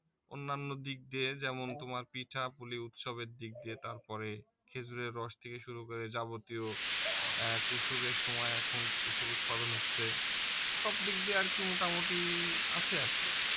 অন্যান্য দিক দিয়ে যেমন তোমার পিঠাপুলি উৎসব এর দিক দিয়ে তারপরে খেজুর এর রস থেকে শুরু করে যাবতীয় কুশূল এর সময় এখন কুশূল উৎপাদন হচ্ছে সবদিক দিয়ে আর কি মোটামুটি আছে আর কি